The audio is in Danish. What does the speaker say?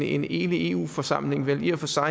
en enig eu forsamling vel i og for sig